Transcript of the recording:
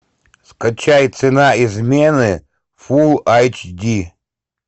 скачай цена измены фулл айч ди